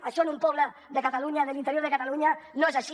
això en un poble de l’interior de catalunya no és així